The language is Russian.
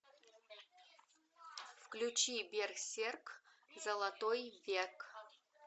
включи берсерк золотой век